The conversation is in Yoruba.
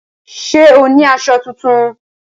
Ṣé o ní aṣọ tuntun?